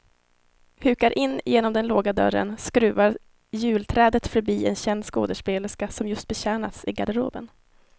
Hukar in genom den låga dörren, skruvar julträdet förbi en känd skådespelerska som just betjänas i garderoben.